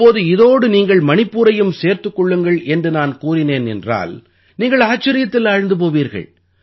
இப்போது இதோடு நீங்கள் மணிப்பூரையும் சேர்த்துக் கொள்ளுங்கள் என்று நான் கூறினேன் என்றால் நீங்கள் ஆச்சரியத்தில் ஆழ்ந்து போவீர்கள்